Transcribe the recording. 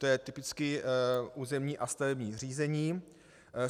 To je typicky územní a stavební řízení.